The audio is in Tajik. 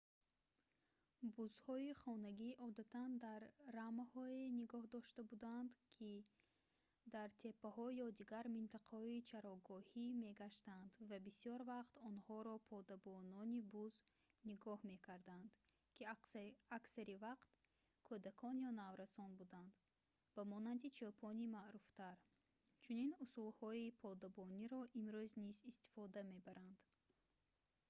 бузҳои хонагӣ одатан дар рамаҳое нигоҳ дошта буданд ки дар теппаҳо ё дигар минтақаҳои чарогоҳӣ мегаштанд ва бисёр вақт онҳоро подабонони буз нигоҳ мекарданд ки аксар вақт кӯдакон ё наврасон буданд ба монанди чӯпони маъруфтар чунин усулҳои подабониро имрӯз низ истифода мебаранд